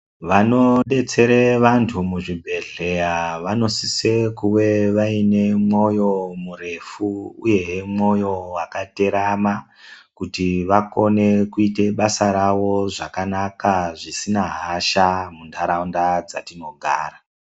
Vanodetsera vantu muzvibhedhlera vanosisa kunge vaine mwoyo murefu uwoho moyo wakaterama kuti vaone kuita basa rawo zvakanaka zvisina hasha mundaraunda dzatinogara.